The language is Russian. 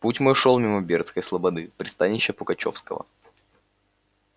путь мой шёл мимо бердской слободы пристанища пугачёвского